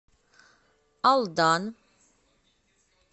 алдан